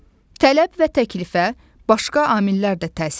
Tələb və təklifə başqa amillər də təsir edir.